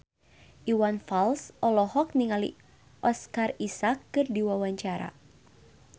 Iwan Fals olohok ningali Oscar Isaac keur diwawancara